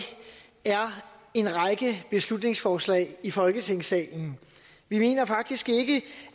er en række beslutningsforslag i folketingssalen vi mener faktisk ikke